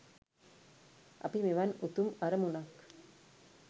අපි මෙවන් උතුම් අරමුනක්